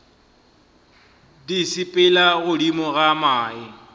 di sepela godimo ga mae